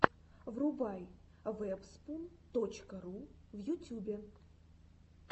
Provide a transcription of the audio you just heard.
врубай вэбспун точка ру в ютюбе